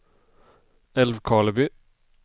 Älvkarleby